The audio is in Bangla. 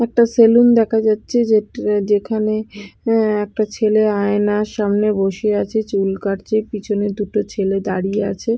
একটা সেলুন দেখা যাচ্ছে যে যেখানে অ্যা একটা ছেলে আয়নার সামনে বসে আছে চুল কাটছে পিছনে দুটো ছেলে দাঁড়িয়ে আছে।